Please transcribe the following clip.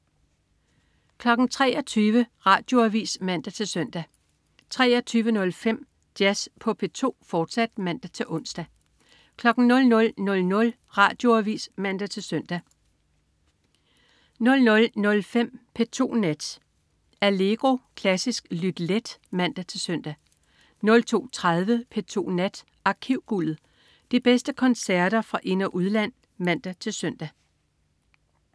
23.00 Radioavis (man-søn) 23.05 Jazz på P2, fortsat (man-ons) 00.00 Radioavis (man-søn) 00.05 P2 Nat. Allegro. Klassisk lyt let (man-søn) 02.30 P2 Nat. Arkivguldet. De bedste koncerter fra ind- og udland (man-søn)